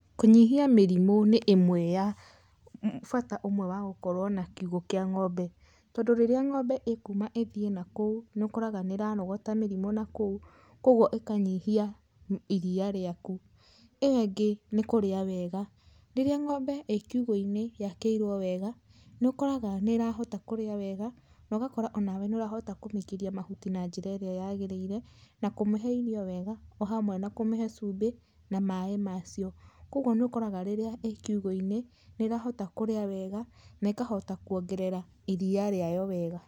Kũnyihia mĩrimũ nĩ imwe ya bata ũmwe wa gũkorwo na kiugũ kĩa ng'ombe, tondũ rĩrĩa ng'ombe ĩkuuma ĩthiĩ nakũu nĩ ũkoraga nĩ ĩrarogota mĩrimũ nakũu kwogwo ĩkanyihia iria riaku. Ĩyo ĩngĩ nĩ kũrĩa wega. Rĩrĩa ng'ombe ĩ kiugũ-inĩ yakĩirwo wega, nĩũkoraga nĩ ĩrahota kũrĩa wega na ũgakora onawe nĩ ũrahota kũmĩikĩria mahuti na njĩra ĩrĩa yagĩrĩire, na kũmĩhe irio wega o hamwe na kũmĩhe cumbi na maaĩ macio. Kwoguo nĩ ũkoraga rĩrĩa ĩ kiugũ-inĩ nĩrahota kũrĩa wega na ĩkahota kwongerera iria rĩayo wega.